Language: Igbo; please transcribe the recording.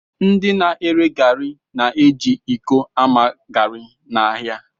Ndị na-ere garị na-eji iko ama garị n'ahịa